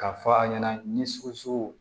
K'a fɔ a ɲɛna ni sogoso